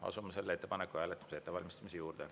Asume selle ettepaneku hääletuse ettevalmistamise juurde.